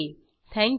थंक you